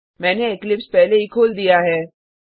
मैंने इक्लिप्स पहले ही खोल दिया है